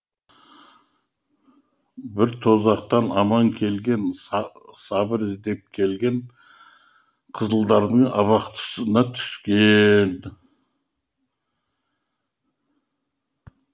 бір тозақтан аман келген сабыр іздеп келген қызылдардың абақтысына түскен